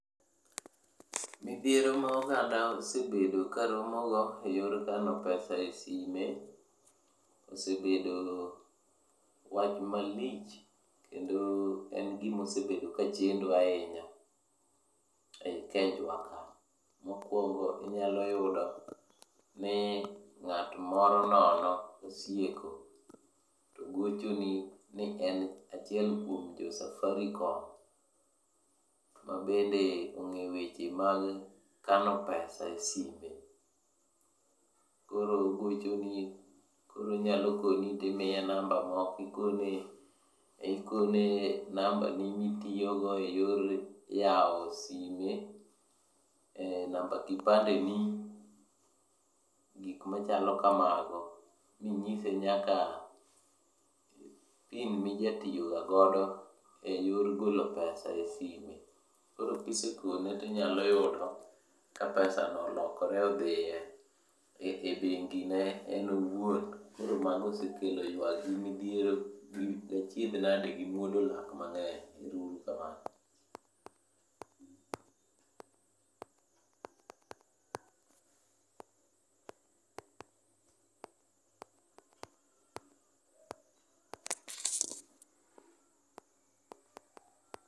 Midhiero ma oganda osebedo karomogo e yor kano pesa e sime, osebedo wach malich kendo en gimosebedo kachendo ahinya ei Kenjwa ka. Mokwongo, inyaloyudo ni ng'at moro nono osieko to gochoni ni en achiel kuom jo Safaricom ma bende ong'e weche mag kano pesa e sime. Koro ogochoni, koro onyalokoni timiye namba moko ikone nambani mitiyogo e yor yawo sime. Eh, namba kipandeni, gik machalo kamago. Minyise nyaka PIN mijatiyogago e yor golo pesa e sime. Koro kisekone tinyalo yudo ka pesa no olokore odhiye e bengine en owuon. Koro mago osekelo ywak gi midhiero gi achiedh nade gi muodo lak mang'eny. Ero uru kamano.